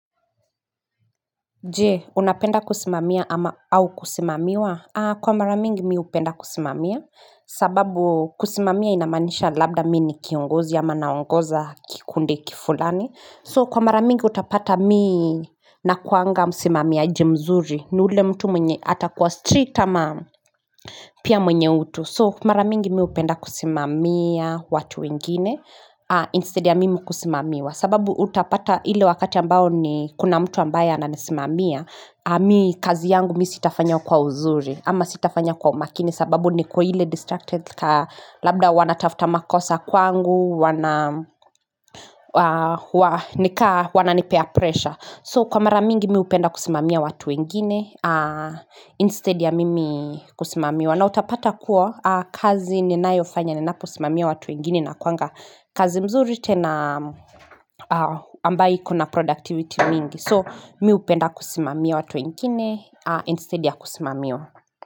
Jee unapenda kusimamia au kusimamiwa kwa maramingi mi upenda kusimamia sababu kusimamia inamanisha labda mi ni kiongozi ama naongoza kikundi kifulani so kwa maramingi utapata mi nakuanga musimamiaji mzuri ni ule mtu mwenye atakuwa strict ama Pia mwenye utu so maramingi mi upenda kusimamia watu wengine instead ya mimi kusimamiwa sababu utapata hile wakati ambao ni kuna mtu ambaye ananisimamia Mi kazi yangu mi sitafanya kwa uzuri ama sitafanya kwa umakini sababu ni kuhile distracted ka labda wana tafta makosa kwangu wana nika wananipea pressure So kwa mara mingi mi upenda kusimamia watu wengine instead ya mimi kusimamiwa na utapata kuwa kazi ninayo fanya ninapo simamia watu wengine inakwanga kazi mzuri tena ambai iko na productivity mingi So mi upenda kusimamia watu wengine instead ya kusimamiwa.